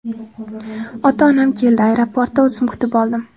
Ota-onam keldi, aeroportda o‘zim kutib oldim.